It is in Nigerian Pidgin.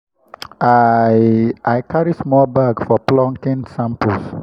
i i carry small bag for plucking samples.